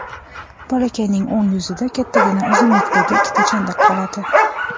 Bolakayning o‘ng yuzida kattagina uzunlikdagi ikkita chandiq qoladi.